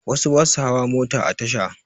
Wasu ba su hawa mota a tasha